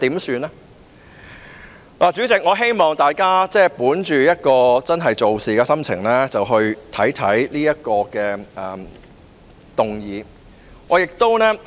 主席，我希望大家本着真正做事的心情來考慮這項議案。